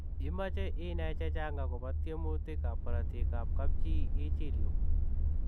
Imache inai chechang akopoo tuemutik ap korotik ap kapchii ichiil yuu.